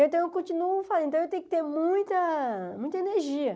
Então, eu continuo falando, eu tenho que ter muita muita energia.